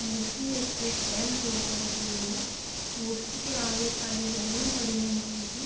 मूर्ति एक स्टैंड के ऊपर रखी हुवी है मूर्ति के आगे खाली ज़मीन पड़ी है मट्टी की।